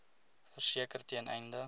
verseker ten einde